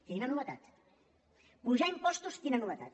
quina novetat apujar impostos quina no·vetat